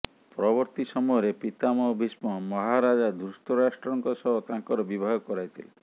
ପରବର୍ତ୍ତୀ ସମୟରେ ପିତାମହ ଭୀଷ୍ମ ମହାରାଜା ଧୃତରାଷ୍ଟ୍ରଙ୍କ ସହ ତାଙ୍କର ବିବାହ କରାଇଥିଲେ